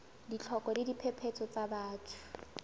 ditlhoko le diphephetso tsa batho